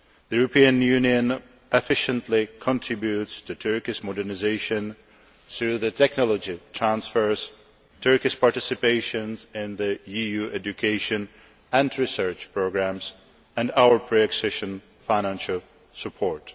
The European Union efficiently contributes to Turkey's modernisation through technology transfers, Turkey's participation in EU education and research programmes and our pre accession financial support.